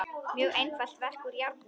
Mjög einfalt verk úr járni.